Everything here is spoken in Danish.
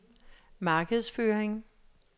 markedsføring